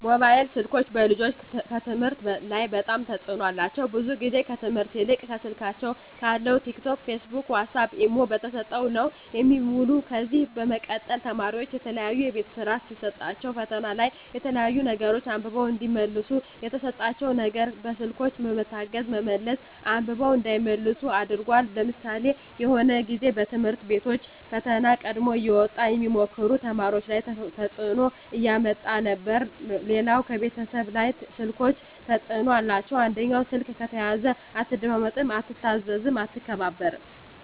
ሞባይል ስልኮች በልጆች ከትምህርት ላይ በጣም ተጽዕኖ አላቸው ብዙ ግዜ ከትምህርት ይልቅ ከስልካቸው ካለው ቲክ ቶክ ፊስቡክ ዋሳፕ ኢሞ ተሰጠው ነው የሚውሉ ከዚ በመቀጠል ተማሪዎች የተለያዩ የቤት ስራ ሲሰጣቸዉ ፈተና ላይ የተለያዩ ነገሮች አንብበው እዲመልሱ የተሰጣቸው ነገር በስልኮች በመታገዝ በመመለስ አንብበው እንዳይመልሱ አድርጓል ለምሳሌ የሆነ ግዜ በትምህርት ቤቶች ፈተና ቀድሞ እየወጣ ሚሞክሩ ተማሪዎች ላይ ተጽዕኖ እያመጣ ነበር ሌላው ከቤተሰብ ላይ ስልኮች ተጽዕኖ አላቸው አንደኛው ስልክ ከተያዘ አትደማመጥም አትታዘዝም አትከባበርም